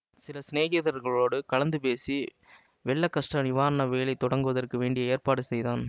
சில சிநேகிதர்களோடு கலந்து பேசி வெள்ள கஷ்ட நிவாரண வேலை தொடங்குவதற்கு வேண்டிய ஏற்பாடு செய்தான்